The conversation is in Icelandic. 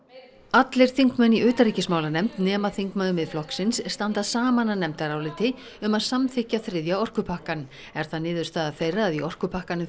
allir þingmenn í utanríkismálanefnd nema þingmaður Miðflokksins standa saman að nefndaráliti um að samþykkja þriðja orkupakkann er það niðurstaða þeirra að í orkupakkanum